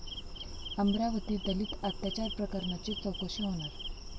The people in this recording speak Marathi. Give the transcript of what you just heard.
अमरावतीत दलित अत्याचार प्रकरणाची चौकशी होणार